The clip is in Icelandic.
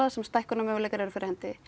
sem stækkunarmöguleikar eru fyrir hendi